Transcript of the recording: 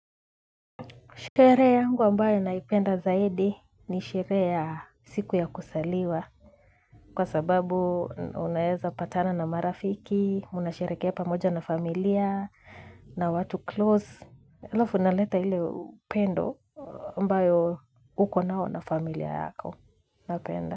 Shere yangu ambayo naipenda zaidi ni sheree ya siku ya kusaliwa kwa sababu unaeza patana na marafiki, mnasherekea pamoja na familia na watu close. Alavu na leta hile upendo ambayo huko nao na familia yako napenda.